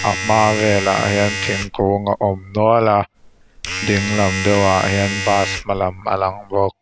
a hma velah hian thingkung a awm nual a dinglam deuhah hian bus hma lam a lang bawk.